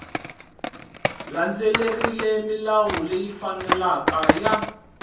landzelerile milawu leyi faneleke ya